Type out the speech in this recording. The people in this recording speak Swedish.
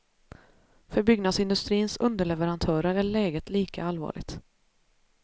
För byggnadsindustrins underleverantörer är läget lika allvarligt.